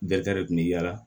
Bɛɛ kari kun bɛ yaala